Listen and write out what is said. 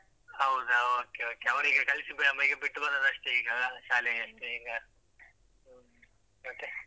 ಹೌದಾ okay okay, ಅವ್ರಿಗೆ ಕಳಿಸಿ ಅಹ್ ಬಿಟ್ಟು ಬಂದದಷ್ಟೇ ಈಗ ಶಾಲೆಗಷ್ಟೇ ಈಗ ಮತ್ತೆ?